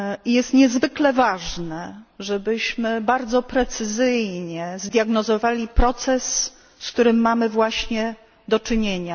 Jest niezwykle ważne, żebyśmy bardzo precyzyjnie zdiagnozowali proces, z którym mamy właśnie do czynienia.